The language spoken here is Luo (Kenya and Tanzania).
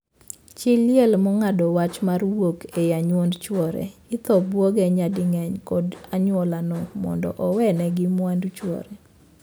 Chii liel mong'ado wach mar wuok e anyuond chwore ithor buogi nyading'eny kod anyuolano mondo owee negii mwandu chwore.